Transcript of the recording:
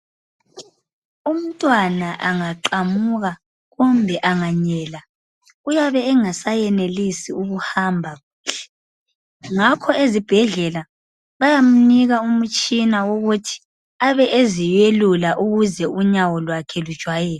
Umntwana angaqamuka kumbe anganyela uyabe engasayenelisi uhamba ngakho ezibhedlela bayamunika umutshina wokuthi abe eziyekula ukuze unyawolwakhe lujwayele.